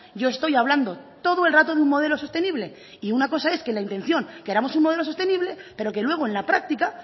yo estoy hablando todo el rato de un modelo sostenible y una cosa es que la intención queramos un modelo sostenible pero que luego en la práctica